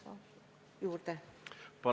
Palun aega juurde!